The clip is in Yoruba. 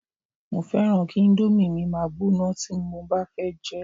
mo fẹràn ki Indomie mi ma gbóná ti mo ba fẹ jẹ